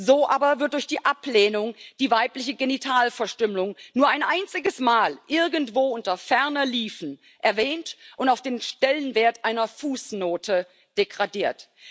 So aber wird durch die Ablehnung die weibliche Genitalverstümmelung nur ein einziges Mal irgendwo unter ferner liefen erwähnt und auf den Stellenwert einer Fußnote degradiert.